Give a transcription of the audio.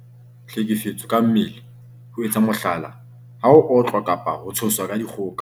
Tlhekefetso ka mmele- ho etsa mohlala, ha o otlwa kapa ho tshoswa ka dikgoka.